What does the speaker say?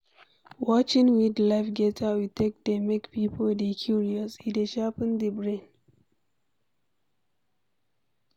Watching wild life get how e take dey make pipo dey curious, e dey sharpen di brain